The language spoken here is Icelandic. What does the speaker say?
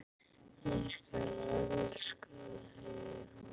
Ég elska það, segir hún.